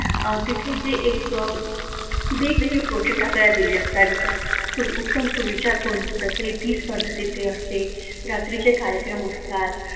तिथेच जे एक वी प्रोजेक्ट आपल्याला दिलेले जातात जसे की उत्तम सुविचार कोण लिहीत तर ती स्पर्धा तिथे असते रात्रीचे कार्यक्रम असतात,